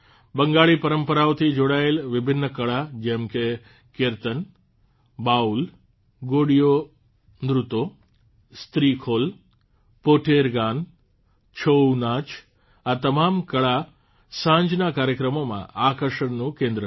બંગાળી પરંપરાઓથી જોડાયેલ વિભિન્ન કળા જેમ કે કિર્તન બાઉલ ગોડિયોં નૃત્તોં સ્ત્રીખોલ પોટેર ગાન છોઉ નાચ આ તમામ કળા સાંજના કાર્યક્રમોમાં આકર્ષણનું કેન્દ્ર હતી